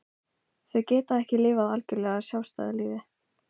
Þau geta ekki lifað algjörlega sjálfstæðu lífi.